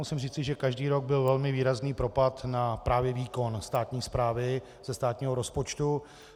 Musím říci, že každý rok byl velmi výrazný propad na právě výkon státní správy ze státního rozpočtu.